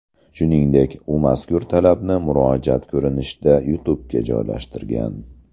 Shuningdek, u mazkur talabni murojaat ko‘rinishida YouTube’ga joylashtirgan.